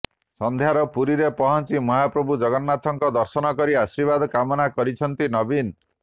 ସନ୍ଧ୍ୟାରେ ପୁରୀରେ ପହଁଚି ମହାପ୍ରଭୁ ଜଗନ୍ନାଥଙ୍କ ଦର୍ଶନ କରି ଆଶୀର୍ବାଦ କାମନା କରିଛନ୍ତି ନବୀନ